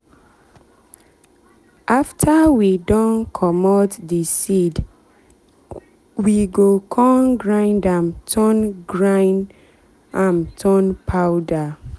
after we don comot the weedwe go con grind am turn grind am turn powder.